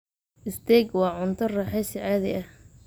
Steak waa cunto raaxaysi caadi ah.